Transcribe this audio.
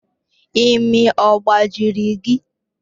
Imi ọ gbajiri gị?